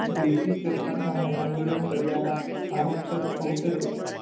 british સરકાર સામે આંદોલન કર્યાનાં આરોપસર અવસરે,